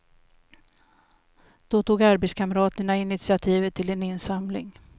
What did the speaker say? Då tog arbetskamraterna initiativet till en insamling.